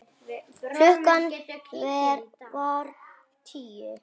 Klukkan var tíu.